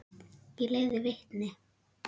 Ég leiði vitni.